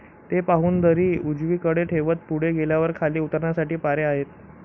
ते पाहून दरी उजवी कडे ठेवत पुढे गेल्यावर खाली उतरण्यासाठी पायऱ्या आहेत